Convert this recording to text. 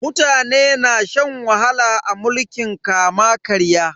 Mutane na shan wahala a mulkin kama-karya.